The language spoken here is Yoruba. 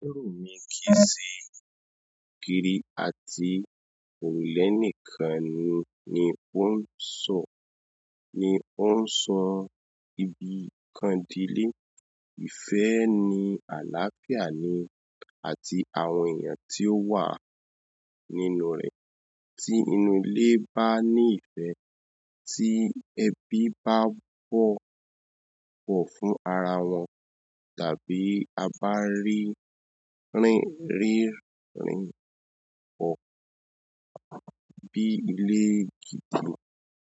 Iru mi kì í ṣe ògiri àti òrùlé nìkan ni ó ń sọ, nì ó ń sọ ibi nkan di ilé. Ìfẹ́ ni àlàáfíà ni àti àwọn èèyàn tí ó wà nínú rẹ̀. Tí inú ilé bá ní ìfẹ́, tí ẹbí bá bọ̀wọ̀ fún ara wọn, a bá rí i gẹ́gẹ́ bí ilé gidi.